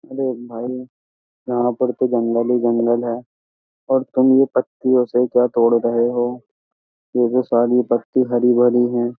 अरे भाई यहाँ पर तो जंगल ही जंगल है और तुम ये पत्तियों से क्या तोड़ रहे हो? ये जो सारी पत्ती हरी-भरी हैं।